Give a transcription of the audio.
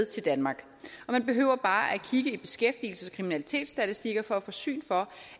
til danmark man behøver bare at kigge i beskæftigelses og kriminalitetsstatistikker for at få syn for